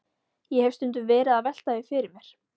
Ég hef stundum verið að velta því fyrir mér.